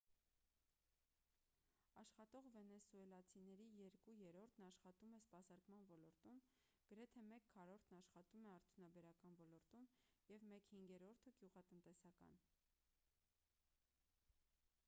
աշխատող վենեսուելացիների երկու երրորդն աշխատում է սպասարկման ոլորտում գրեթե մեկ քառորդն աշխատում է արդյունաբերական ոլորտում և մեկ հինգերորդը գյուղատնտեսական